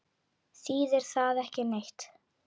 Þýðir það ekki neitt?